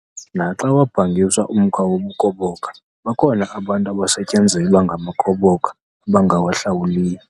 Naxa wabhangiswa umkhwa wobukhoboka bakhona abantu abasetyenzelwa ngamakhoboka abangawahlawuliyo.